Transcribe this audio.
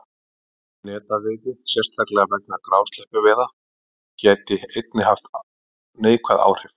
Aukin netaveiði, sérstaklega vegna grásleppuveiða, gæti einnig hafa haft neikvæð áhrif.